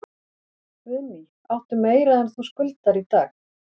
Guðný: Áttu meira en þú skuldar í dag?